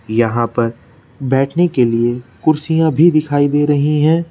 यहां पर बैठने के लिए कुर्सियां भी दिखाई दे रही हैं।